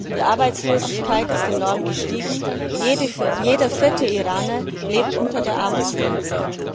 Die Arbeitslosigkeit ist enorm gestiegen, jeder vierte Iraner lebt unter der Armutsgrenze.